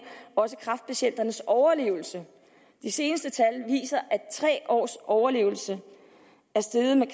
også i kræftpatienternes overlevelse de seneste tal viser at tre års overlevelsen er steget med